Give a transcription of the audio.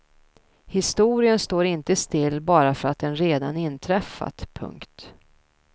Historien står inte still bara för att den redan inträffat. punkt